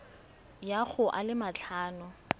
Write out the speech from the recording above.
ya go a le matlhano